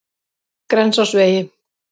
Grensásvegi